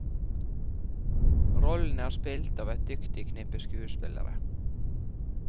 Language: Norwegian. Rollene er spilt av et dyktig knippe skuespillere.